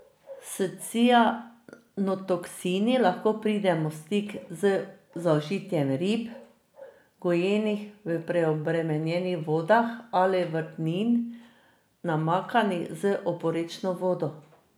S cianotoksini lahko pridemo v stik z zaužitjem rib, gojenih v preobremenjenih vodah, ali vrtnin, namakanih z oporečno vodo.